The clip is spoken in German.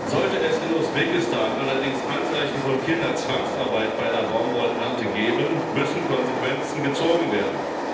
Sollte es in Usbekistan allerdings Anzeichen von Kinderzwangsarbeit bei der Baumwollernte geben, müssen Konsequenzen gezogen werden.